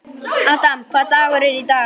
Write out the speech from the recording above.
Adam, hvaða dagur er í dag?